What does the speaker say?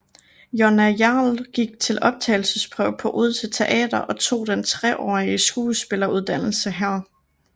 Jonna Hjerl gik til optagelsesprøve på Odense Teater og tog den treårige skuespilleruddannelse her